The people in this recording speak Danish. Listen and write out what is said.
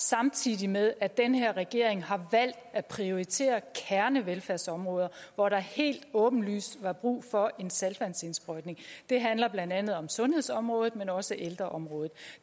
samtidig med at den her regering har valgt at prioritere kernevelfærdsområder hvor der helt åbenlyst var brug for en saltvandsindsprøjtning det handler blandt andet om sundhedsområdet men også ældreområdet